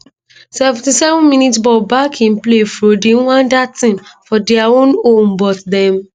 77mins ball back in play fro di rwandan team for dia own home but dem